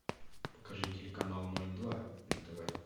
покажи телеканал ноль два на тв